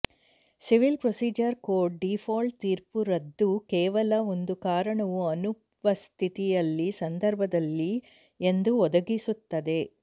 civil procedure code default ತೀರ್ಪು ರದ್ದು ಕೇವಲ ಒಂದು ಕಾರಣವು ಅನುಪಸ್ಥಿತಿಯಲ್ಲಿ ಸಂದರ್ಭದಲ್ಲಿ ಎಂದು ಒದಗಿಸುತ್ತದೆ